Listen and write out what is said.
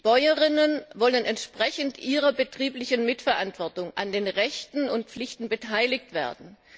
Bäuerinnen wollen entsprechend ihrer betrieblichen Mitverantwortung an den Rechten und Pflichten beteiligt werden.